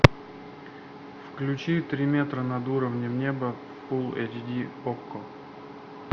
включи три метра над уровнем неба фул эйч ди окко